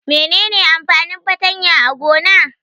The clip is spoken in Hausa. Mene ne amfanin fartanya a gona?